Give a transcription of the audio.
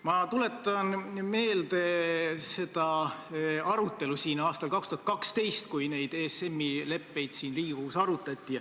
Ma tuletan meelde seda arutelu aastal 2012, kui neid ESM-i leppeid siin Riigikogus arutati.